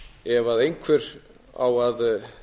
ef einhver á að